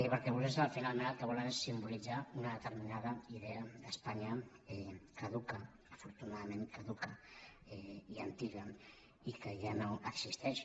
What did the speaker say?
perquè vostès finalment el que volen és simbolitzar una determinada idea d’espanya caduca afortunadament caduca i antiga i que ja no existeix